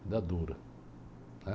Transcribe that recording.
Idade dura. Né?